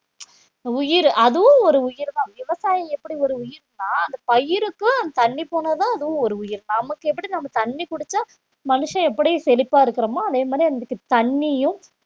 உயிர் அதுவும் ஒரு உயிர்தான் விவசாயம் எப்படி ஒரு உயிர் பயிருக்கு தண்ணி போனா தான் அதுவும் ஒரு உயிர் நமக்கு எப்படி நம்ம தண்ணி குடிச்சா மனுஷன் எப்படி செழிப்பா இருக்குறோமோ அதே மாதிரி அதுக்கு தண்ணியும்